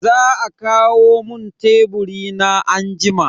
Za a kawo mun teburi na anjima.